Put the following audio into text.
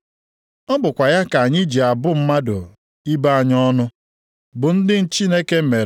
Site nʼotu ọnụ anyị ka ịja mma na ịbụ ọnụ na-esi apụta. Ụmụnna m, nke a abụghị ihe ziri ezi.